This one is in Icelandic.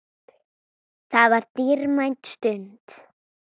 Það var dýrmæt stund.